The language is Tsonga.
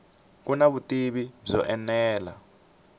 ku na vutivi byo enela